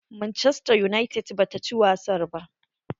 Manchester United ba ta ci wasar ta ba.